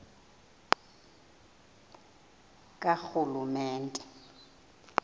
karhulumente